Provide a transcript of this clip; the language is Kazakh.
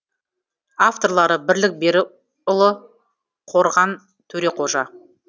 авторлары бірлік беріұлы қорған төреқожа